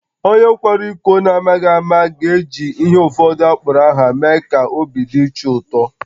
Onye kwara iko n’amaghị ama ga-eji ihe ụfọdụ akpọrọ aha mee ka obi dị chi ụtọ